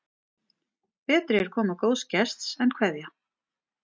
Betri er koma góðs gests en kveðja.